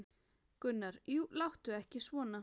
Gunnar: Jú, láttu ekki svona.